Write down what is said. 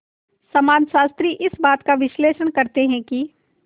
समाजशास्त्री इस बात का विश्लेषण करते हैं कि